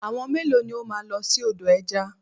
Àwọn mélòó ni o máa lọ sí odò ẹja?